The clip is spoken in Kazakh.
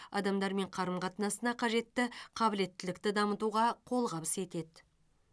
адамдармен қарым қатынасына қажетті қабілеттілікті дамытуға қолғабыс етеді